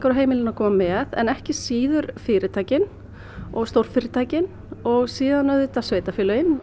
og heimilin að koma með en ekki síður fyrirtækin og stórfyrirtækin og síðan auðvitað sveitarfélögin